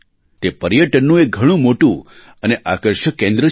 તે પર્યટનનું એક ઘણું મોટું અને આકર્ષક કેન્દ્ર છે